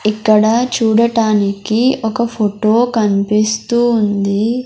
ఇక్కడ చూడటానికి ఒక ఫోటో కనిపిస్తూ ఉంది.